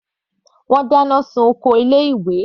Wọ́n dá iná sun oko ilé ìwé.